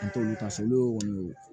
N t'olu ta sabu olu y'o ye